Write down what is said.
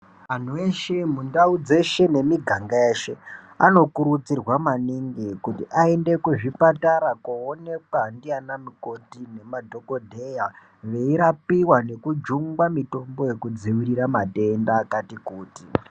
Antu eshe mundau dzeshe nemiganga yeshe anokurudzirwa maningi kuti aende kuzvipatara koonekwa ndiana mukoti nemadhokodheya veirapiwa nekujungwa mitombo yekudzivirira matenda akati kuti.